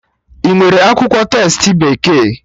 Inwere akwụkwọ testi bekee?